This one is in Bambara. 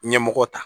Ɲɛmɔgɔ ta